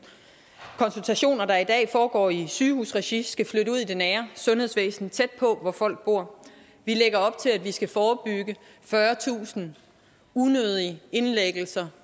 konsultationer der i dag foregår i sygehusregi skal flytte ud i det nære sundhedsvæsen tæt på hvor folk bor vi lægger op til at vi skal forebygge fyrretusind unødige indlæggelser